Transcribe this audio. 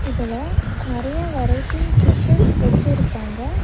இதுல நெறைய variety fishes வெச்சிருக்காங்க.